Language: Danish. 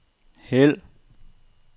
hæld